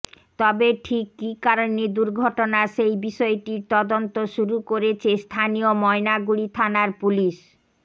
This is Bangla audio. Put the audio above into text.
তবে ঠিক কি কারণে দুর্ঘটনা সেই বিষয়টির তদন্ত শুরু করেছে স্থানীয় ময়নাগুড়ি থানার পুলিশ